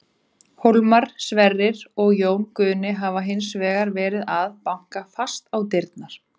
Hólmar, Sverrir og Jón Guðni hafa hins vegar verið að banka fast á dyrnar.